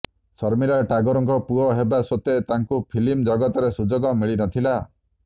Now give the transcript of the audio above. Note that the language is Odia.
ଶର୍ମିଲା ଟାଗୋରଙ୍କ ପୁଅ ହେବା ସତ୍ୱେ ତାଙ୍କୁ ଫିଲ୍ମ ଜଗତରେ ସୁଯୋଗ ମିଳି ନ ଥିଲା